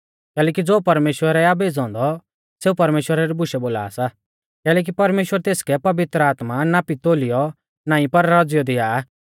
कैलैकि ज़ो परमेश्‍वरै आ भेज़ौ औन्दौ सेऊ परमेश्‍वरा री बुशै बोला सा कैलैकि परमेश्‍वर तेसकै पवित्र आत्मा नापीतोलीऔ नाईं पर रौज़ीयौ दिया आ